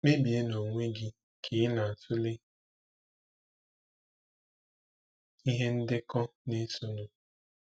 Kpebie n'onwe gị ka ị na-atụle ihe ndekọ na-esonụ.